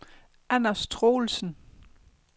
Anders Troelsen